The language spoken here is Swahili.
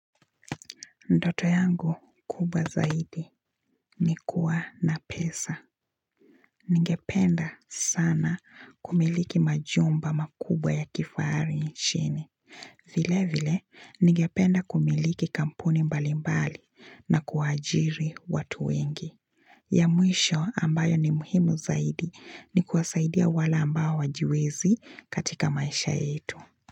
Ndoto yangu kubwa zaidi ni kuwa na pesa. Ningependa sana kumiliki majumba makubwa ya kifahari nchini. Vile vile, ningependa kumiliki kampuni mbali mbali na kuwaajiri watu wengi. Ya mwisho ambayo ni muhimu zaidi ni kuwasaidia wale ambao hawajiwezi katika maisha yetu.